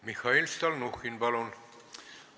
Mihhail Stalnuhhin, palun!